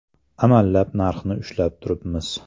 Amallab narxni ushlab turibmiz.